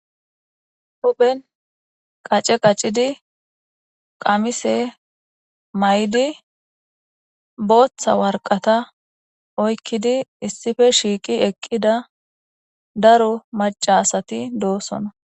huphen qace qaccidi qamise may7di booththa warqata oykkidi issife shiiqi eqqida daro macasati doosona